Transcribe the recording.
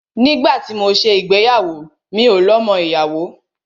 Nígbà tí mọ ṣé ìgbéyàwó, mi ò lo ọmọ ìyàwó.